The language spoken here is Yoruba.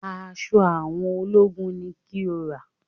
Aṣọ àwọn ológun ni kí o rà!